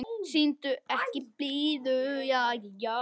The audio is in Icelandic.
Sýndu ekki blíðu.